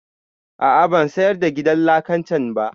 A'a ban sayar da gidan lakan can ba